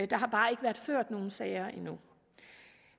der har bare ikke været ført nogen sager endnu